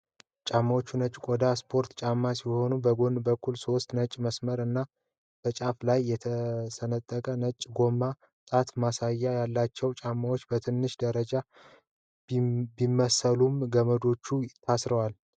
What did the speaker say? ጫማዎቹ ነጭ የቆዳ ስፖርት ጫማዎች ሲሆኑ፣ በጎን በኩል ሶስት ነጭ መስመሮች እና በጫፍ ላይ የተሰነጠቀ ነጭ የጎማ ጣት መከላከያ አላቸው። ጫማዎቹ በትንሹ ያረጁ ቢመስሉም ገመዶቻቸው ታስረዋል።